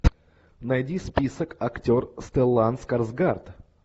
найди список актер стеллан скарсгард